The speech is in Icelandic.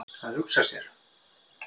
Að hugsa sér!